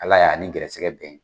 Ala y'a ni gɛrɛsɛgɛ bɛn!